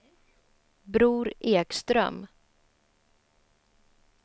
Bror Ekström